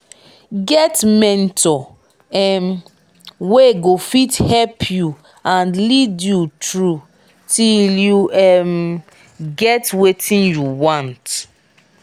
get mentor um wey go fit help you and lead you through till you um get wetin you want